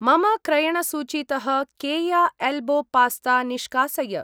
मम क्रयणसूचीतः केया एल्बो पास्ता निष्कासय।